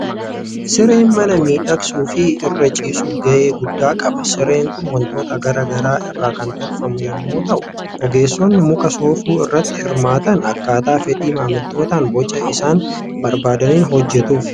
Sireen mana miidhagsuu fi irra ciisuuf gahee guddaa qaba. Sireen kun waantota garaa garaa irraa kan tolfamu yommuu ta'u, ogeessonni muka soofuu irratti hirmaatan akkaataa fedhii maamiltootaan boca isaan barbaadaniin hojjetuufii.